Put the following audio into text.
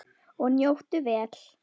Og njóttu vel.